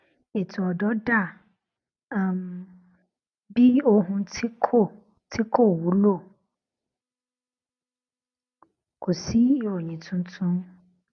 ètò ọdọ dà um bí ohun tí kò tí kò wúlò kò sí ìròyìn tuntun